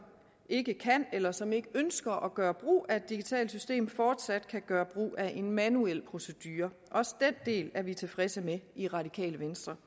ikke kan eller som ikke ønsker at gøre brug af det digitale system fortsat kan gøre brug af en manuel procedure også den del er vi tilfredse med i radikale venstre